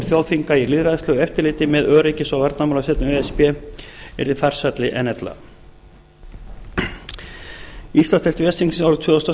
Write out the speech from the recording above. þjóðþinga í lýðræðislegu eftirliti með öryggis og varnarmálasveitum e s b yrði farsælli en ella íslandsdeild ves þingsins árið tvö þúsund og